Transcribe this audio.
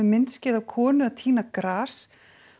myndskeið af konu að tína gras